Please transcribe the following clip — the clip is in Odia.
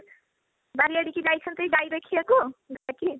ବାରି ଆଡକୁ ଯାଇଛନ୍ତି ଗାଈ ଦେଖିବାକୁ